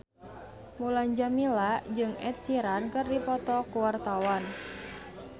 Mulan Jameela jeung Ed Sheeran keur dipoto ku wartawan